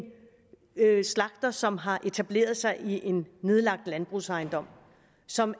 slagter som har etableret sig i en nedlagt landbrugsejendom som